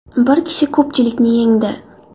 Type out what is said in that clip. Bir kishi ko‘pchilikni yengdi.